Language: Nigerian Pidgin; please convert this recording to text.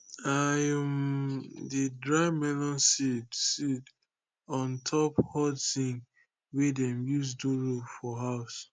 i um dey dry melon seed seed on top hot zinc wey dem use do roof for house